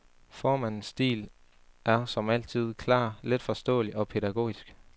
Formandens stil er, som altid, klar, letforståelig og pædagogisk.